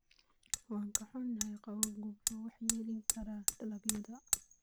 Waan ka xunnahay, qabowgu wuxuu waxyeeleyn karaa dalagyada.